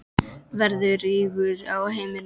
Verður rígur á heimilinu?